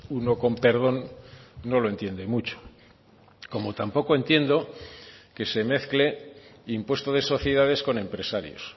uno con perdón no lo entiende mucho como tampoco entiendo que se mezcle impuesto de sociedades con empresarios